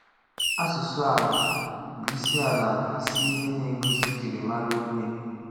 Asụsụ ala bụ isi ala bụ isi ihe na-egosi njirimara onye.